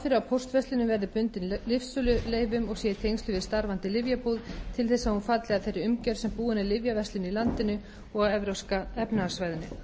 tengslum við starfandi lyfjabúð til þess að hún falli að þeirri umgjörð sem búin er lyfjaverslun í landinu og á evrópska efnahagssvæðinu